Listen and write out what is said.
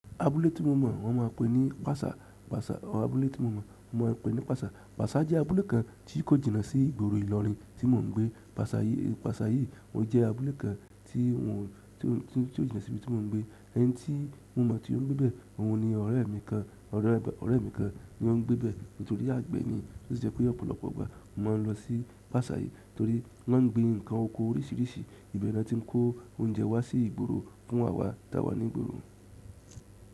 Abúlé tí mo mọ̀ wọ́n máa pè ní Pàsà. Pàsà, abúlé tí mo mọ̀ wọ́n máa pè ní Pàsà. Pàsà jẹ́ abúlé kan tí kò jìnnà sí ìgboro ìlọrin tí mo ń gbé. Pàsà yìí, Pàsà yìí ó jẹ́ abúlé kan tí ò jínnà sí ibi tí mo ń gbé. Ẹni tí mo mọ̀ tí ó ń gbé bẹ, òun ni ọ̀rẹ́ mi kan, ọ̀rẹ́ mi kan ni ó ń gbé bẹ. Nítorí àgbẹ̀ ni, ó jẹ́ pé ọ̀pọ̀lọpọ̀ ọgbà mo máa ń lọ sí Pàsà yìí torí wọ́n ń gbin nǹkan oko oríṣiríṣi ibẹ̀ ni wọ́n ti ń kó oúnjẹ wá sí ìgboro fún àwa tá wà ní ìgboro.